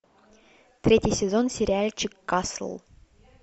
третий сезон сериальчик касл